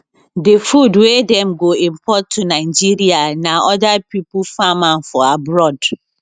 di food wey dem go import to nigeria na oda pipo farm am for abroad